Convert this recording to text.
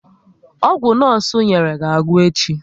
Ọgwụ nosu nyerem ga agwụ echi